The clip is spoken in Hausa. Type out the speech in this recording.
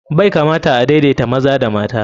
Bai kamata a daidaita maza da mata.